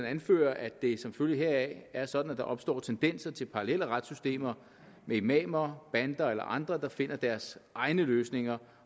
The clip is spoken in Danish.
anfører at det som følge heraf er sådan at der opstår tendenser til parallelle retssystemer med imamer bander eller andre der finder deres egne løsninger